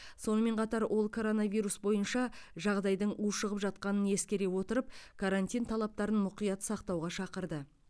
сонымен қатар ол коронавирус бойынша жағдайдың ушығып жатқанын ескере отырып карантин талаптарын мұқият сақтауға шақырды